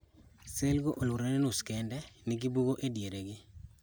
selgo oluorore nus kende nigi bugo ediergi.